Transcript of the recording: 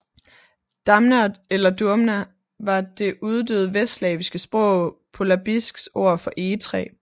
Damna eller Dumna var det uddøde vestslaviske sprog polabisks ord for egetræ